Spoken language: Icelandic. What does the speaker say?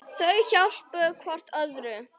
Þau hjálpa hvort öðru.